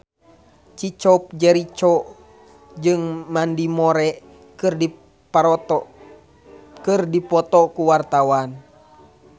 Chico Jericho jeung Mandy Moore keur dipoto ku wartawan